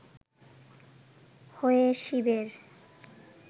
হয়ে শিবের